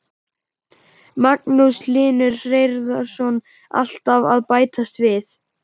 Magnús Hlynur Hreiðarsson: Alltaf að bætast við?